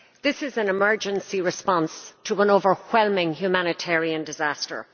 This is an emergency response to an overwhelming humanitarian disaster.